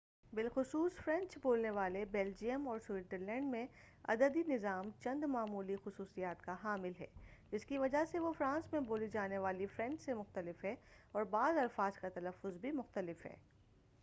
بالخصوص فرینچ بولنے والے بلجیم اور سوئزرلینڈ میں عددی نظام چند معمولی خصوصیات کا حامل ہے جس کی وجہ سے وہ فرانس میں بولی جانے والی فرینچ سے مختلف ہے اور بعض الفاظ کا تلفظ بھی مختلف ہے